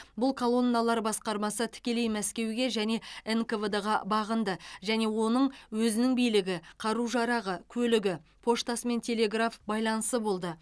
бұл колонналар басқармасы тікелей мәскеуге және нквд ға бағынды және оның өзінің билігі қару жарағы көлігі поштасы мен телеграф байланысы болды